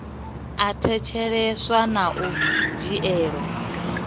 a thetsheleswa na u dzhielwa